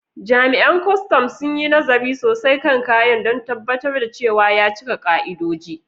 Jami’an kwastam sun yi nazari sosai kan kayan don tabbatar da cewa ya cika ka’idoji.